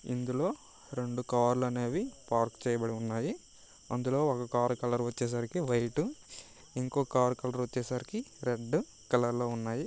ఇందులో రెండు కార్ లు అనే వి పార్క్ చేయబడి ఉన్నాయి. అందులో ఒక కారు కలర్ వచ్చే సరికి వైట్ ఇంకో కార్ కలర్ వచ్చే సరికి రెడ్ కలర్ లో ఉన్నాయి.